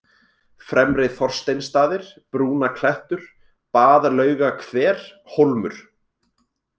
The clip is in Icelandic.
Fremri-Þorsteinsstaðir, Brúnaklettur, Baðlaugahver, Hólmur